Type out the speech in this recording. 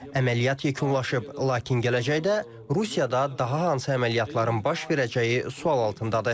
Əməliyyat yekunlaşıb, lakin gələcəkdə Rusiyada daha hansı əməliyyatların baş verəcəyi sual altındadır.